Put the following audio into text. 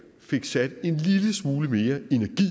fik sat en lille smule mere energi